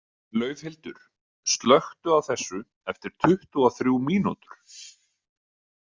Laufhildur, slökktu á þessu eftir tuttugu og þrjú mínútur.